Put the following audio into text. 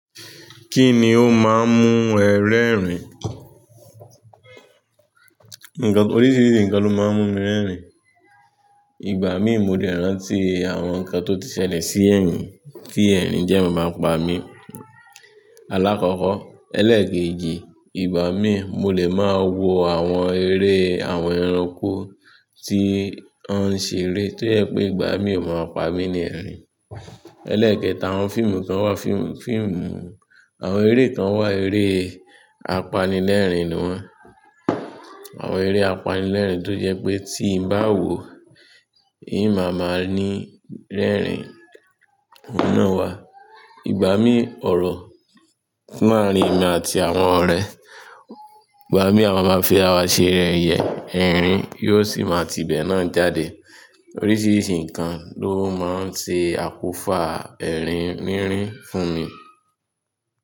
Kíni ó máa ń mú ẹ rẹ́rìn? Oríṣiríṣi nǹkan ló máa ń mú mi rẹ́rìn. Igbà mí mo lè rántí àwọn nǹkan tó ti ṣẹlẹ̀ sí ẹyin ki ẹrin dẹ máa pa mí. Alákọ́kọ́, ẹlẹ́kẹ̀éjì, ìgbà míi mo lè máa wo àwọn eré àwọn ẹranko tí wọ́n ń ṣe eré tó jẹ́ pé ìgbà míi ò maa n pa mí ní ẹ̀rín. Ẹlẹ́ẹ̀kẹta, àwọn fíìmù kan wà, fíìmù, àwọn eré kán wà, eré apanilẹ́rìn ni wọ́n. Àwọn eré apanilẹ́rìn tó jẹ́ pé tí n bá wò ó, n máa ma ní rẹ́rìn. Òun náà wà. Ìgbà mí ọ̀rọ̀ máa rí emi àti àwọn ọ̀rẹ́. Ìgbà mí a máa máa fi ara ṣe yẹyẹ, ẹ̀rín yóò sì máa tí ibẹ̀ náà jáde. Oríṣiríṣi nǹkan ló máa ń ṣe àkófà ẹ̀rín rínrín fún mi.